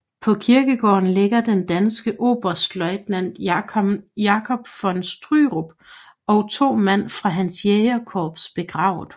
På kirkegården ligger den danske oberstløjtnant Jacob von Stürup og to mand fra hans jægerkorps begravet